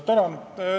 Tänan!